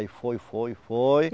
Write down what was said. Aí foi, foi, foi.